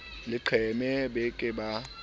leqeme ba ke ba ba